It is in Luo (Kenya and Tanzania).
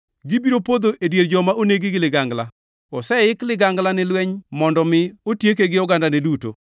Gibiro podho e dier joma onegi gi ligangla. Oseik ligangla ni lweny mondo mi otieke gi ogandane duto.